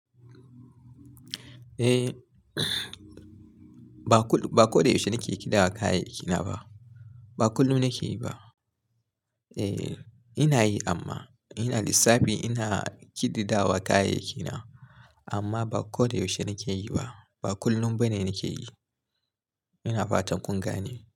Eh, ba ko da yaushe nake kidawa kayayyaki na ba. Ba kullum nake yi ba. E, ina yi amma ina lissafi ina kididawa kayayyaki na. Amma ba ko da yaushe nake yi ba. Ba kullum bane nake yi. Ina fatan kun gane.